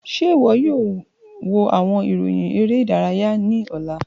Ṣe iwọ yoo wo awọn iroyin ere idaraya ni ọla?